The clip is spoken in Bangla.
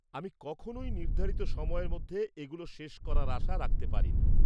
আমি কখনওই নির্ধারিত সময়ের মধ্যে এগুলো শেষ করার আশা রাখতে পারি না।